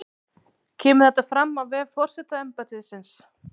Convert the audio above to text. Kemur þetta fram á vef forsetaembættisins